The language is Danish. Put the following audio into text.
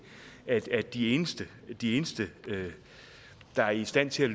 at de eneste de eneste der er i stand til